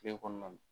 Kile kɔnɔna na